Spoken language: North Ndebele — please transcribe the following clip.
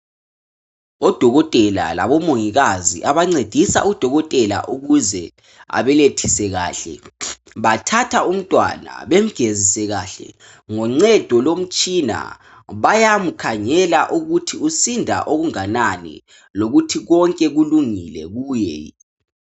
Odokotela labomongikazi abancedisa udokotela ukuze abelethise kahle bathatha umntwana bemgezise kahle ngoncedo lomtshina, bayamkhangela ukuthi usinda okunganani lokuthi konke kulungile kuye.